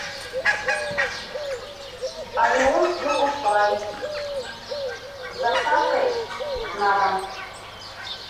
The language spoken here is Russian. ореон чокопай с доставкой на дом